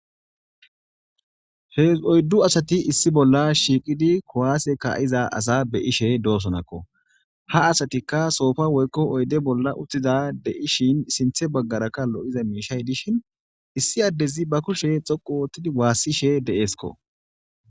Oyddu asathi issi bolla shiiqidi kuwaase kaa7iza asaa be7ishee doosonakkoo; ha asathikka soofa woykko oyde bolla uththida de7ishin sinththe baggarakka lo7iza miishshay dishin issi addezi ba kushe xoqqu ooththidi waassishee de7eeskkoo.